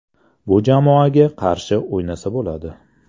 Bu jamoaga qarshi o‘ynasa bo‘ladi.